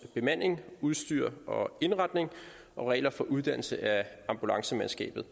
bemanding udstyr og indretning og regler for uddannelse af ambulancemandskabet